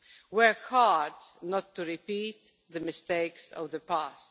Work hard not to repeat the mistakes of the past.